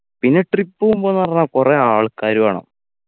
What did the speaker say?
പിന്നെ trip പോവുമ്പോന്ന് പറഞ്ഞാ കൊറേ ആൾക്കാര് വേണം